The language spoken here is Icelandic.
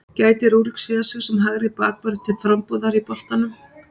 Gæti Rúrik séð sig sem hægri bakvörð til frambúðar í boltanum?